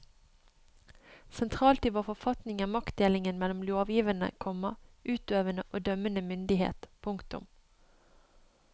Sentralt i vår forfatning er maktdelingen mellom lovgivende, komma utøvende og dømmende myndighet. punktum